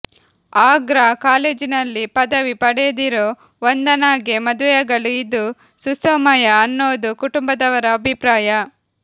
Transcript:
ಆಗ್ರಾ ಕಾಲೇಜಿನಲ್ಲಿ ಪದವಿ ಪಡೆದಿರೋ ವಂದನಾಗೆ ಮದುವೆಯಾಗಲು ಇದು ಸುಸಮಯ ಅನ್ನೋದು ಕುಟುಂಬದವರ ಅಭಿಪ್ರಾಯ